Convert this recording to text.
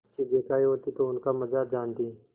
चीजें खायी होती तो उनका मजा जानतीं